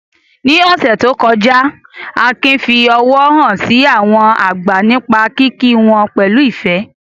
Ní ọ̀sẹ̀ tó kọjá, Akin fi ọ̀wọ̀ hàn sí àwọn àgbà nípa kíkí wọn pẹ̀lú ìfẹ́.